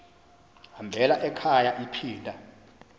hambela ekhaya iphinda